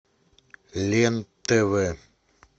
лен тв